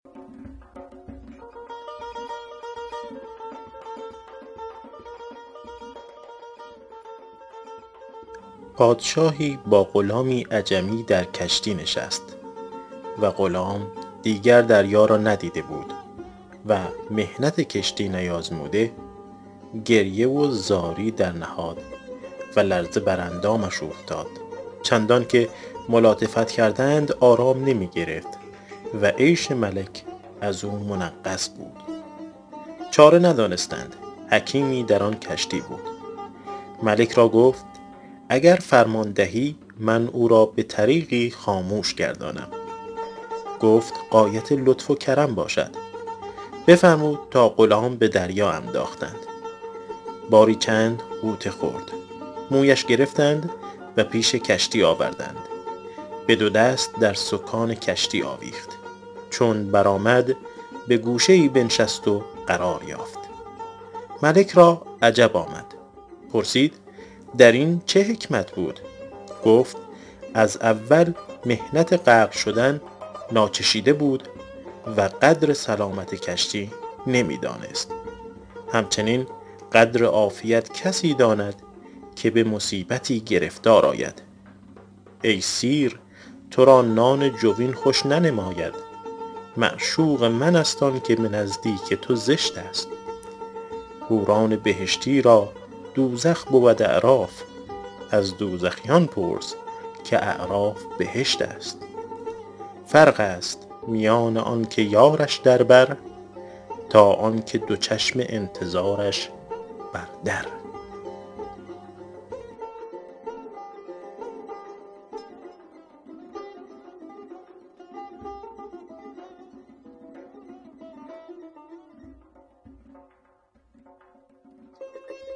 پادشاهی با غلامی عجمی در کشتی نشست و غلام دیگر دریا را ندیده بود و محنت کشتی نیازموده گریه و زاری درنهاد و لرزه بر اندامش اوفتاد چندان که ملاطفت کردند آرام نمی گرفت و عیش ملک از او منغص بود چاره ندانستند حکیمی در آن کشتی بود ملک را گفت اگر فرمان دهی من او را به طریقی خامش گردانم گفت غایت لطف و کرم باشد بفرمود تا غلام به دریا انداختند باری چند غوطه خورد مویش گرفتند و پیش کشتی آوردند به دو دست در سکان کشتی آویخت چون برآمد به گوشه ای بنشست و قرار یافت ملک را عجب آمد پرسید در این چه حکمت بود گفت از اول محنت غرقه شدن ناچشیده بود و قدر سلامت کشتی نمی دانست همچنین قدر عافیت کسی داند که به مصیبتی گرفتار آید ای سیر تو را نان جوین خوش ننماید معشوق من است آن که به نزدیک تو زشت است حوران بهشتی را دوزخ بود اعراف از دوزخیان پرس که اعراف بهشت است فرق است میان آن که یارش در بر تا آن که دو چشم انتظارش بر در